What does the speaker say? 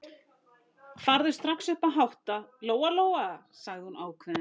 Farðu strax upp að hátta, Lóa-Lóa, sagði hún ákveðin.